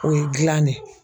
O ye gilan de ye